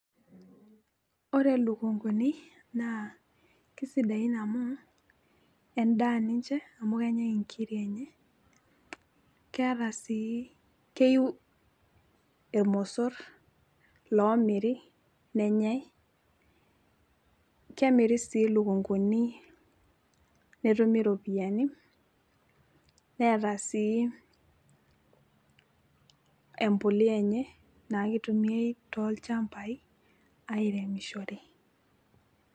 ore lukunkuni naa kisidain amu edaa ninche amu kenyae nkiri enye, keeta sii, keyiu irmosor loomiri, nenyae. kemiri lukunkuni netumi iropiyiani neeta sii empuliya enye naa kitumiae toolchampai aairemishore.